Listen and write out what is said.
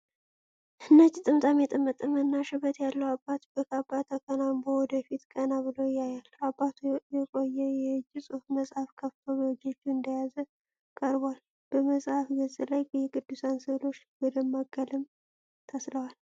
ነጭ ጥምጣም የጠመጠመና ሽበት ያለው አባት በካባ ተከናንቦ ወደ ፊት ቀና ብሎ ያያል። አባቱ የቆየ የእጅ ጽሑፍ መጽሐፍ ከፍቶ በእጆቹ እንደያዘ ቀርቧል። በመጽሐፉ ገጽ ላይ የቅዱሳን ስዕሎች በደማቅ ቀለም ተስለዋል።